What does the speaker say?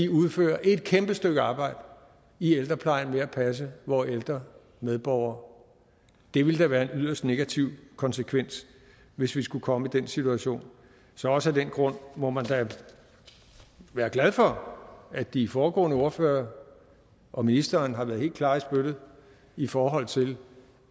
udfører et kæmpe stykke arbejde i ældreplejen ved at passe vore ældre medborgere det ville da være en yderst negativ konsekvens hvis vi skulle komme i den situation også af den grund må man da være glad for at de foregående ordførere og ministeren har været helt klare i spyttet i forhold til